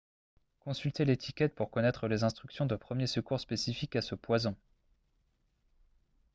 consultez l'étiquette pour connaître les instructions de premiers secours spécifiques à ce poison